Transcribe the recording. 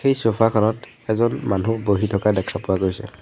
এই চোফা খনত এজন মানুহ বহি থকা দেখা পোৱা গৈছে।